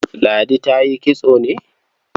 Ladi ta yi kitso ne?